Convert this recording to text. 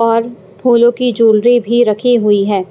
और फूलों की जूलरी भी रखी हुई है